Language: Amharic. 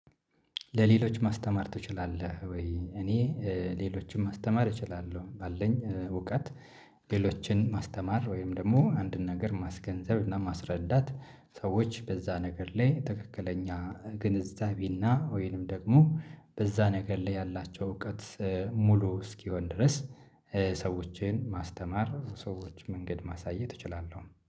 ለሌሎች ማስተማር ትችላለህ ወይ? እኔ ሌሎችን ማስተማር እችላለሁ ባለኝ እውቀት። ሌሎችን ማስተማር ወይም ደግሞ አንድን ነገር ማስገንዘብ እና ማስረዳት። ሰዎች በዛ ነገር ላይ ትክክለኛ ግንዛቤና ወይንም ደግሞ በዛ ነገር ላይ ያላቸው እውቀት ሙሉ እስኪሆን ድረስ። ሰዎችን ማስተማር ሰዎች መንገድ ማሳየት እችላለሁ